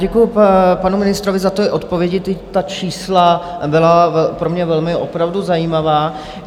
Děkuju panu ministrovi za ty odpovědi, ta čísla byla pro mě velmi opravdu zajímavá.